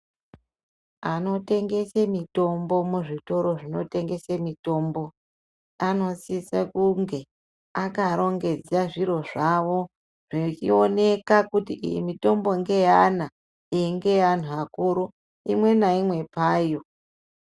Anotengese mitombo muzvitoro zvinotengese mitombo anosisa kunge akarongedza zviro zvavo zvechioneka kuti iyi mitombo ngeyevana, iyi ngeyeanhu akuru. Imwe naimwe payo.